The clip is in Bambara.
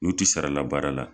N'u ti sara la baara la.